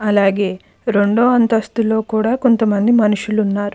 అలాగే రెండు అంతస్తులో కూడా కొంతమంది మనుషులు ఉన్నారు.